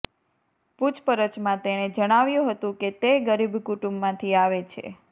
પુછપરછમાં તેણે જણાવ્યું હતું કે તે ગરીબ કુટુંબમાંથી આવે છે